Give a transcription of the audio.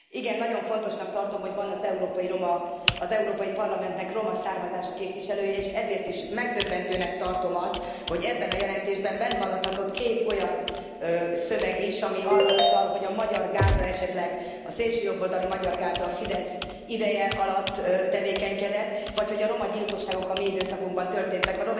Igen, nagyon fontosnak tartom, hogy van az Európai Parlamentnek roma származású képviselője, és ezért is megdöbbentőnek tartom azt, hogy ebben a jelentésben benne maradhatott két olyan szöveg is, ami arra utal, hogy a szélsőjobboldali Magyar Gárda esetleg a Fidesz ideje alatt tevékenykedett, vagy hogy a romagyilkosságok a mi időszakunkban történtek.